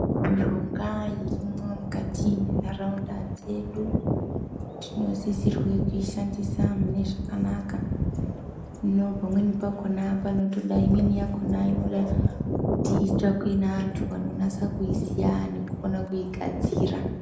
Mushonga irimwo mukati mwentaraunda dzedu tinosisirwe kuishandise Munezvakanaka hino pamweni pakhona panotoda imweni yakona inenge kuti itsvakwe neantu anonasa kuiziya nekukona kuigadzira.